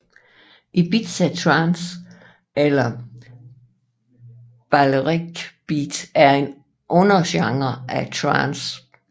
Ibiza trance eller Balearic beat er en undergenre af trance